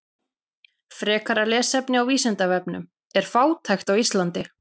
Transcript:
Frekara lesefni á Vísindavefnum: Er fátækt á Íslandi?